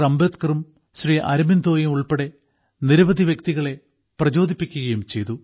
അംബേദ്കറും ശ്രീ അരബിന്ദോയും ഉൾപ്പെടെ നിരവധി വ്യക്തികളെ പ്രചോദിപ്പിക്കുകയും ചെയ്തു